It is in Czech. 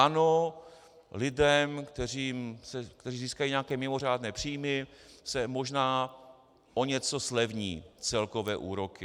Ano, lidem, kteří získají nějaké mimořádné příjmy, se možná o něco zlevní celkové úroky.